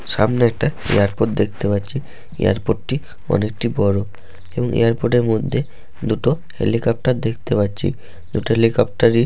সামনে একটি এয়ারপর্ট দেখতে পাচ্ছি। এয়ারপর্ট -টি অনেকটি বড়ো এবং এ্যারপর্ট মধ্যে দুটো হেলিকপ্টার দেখতে পাচ্ছি। দুটো হেলিকপ্টার --